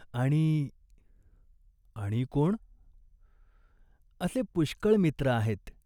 आणि....." "आणि कोण ?" "असे पुष्कळ मित्र आहेत.